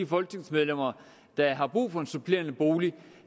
folketingsmedlemmer der har brug for en supplerende bolig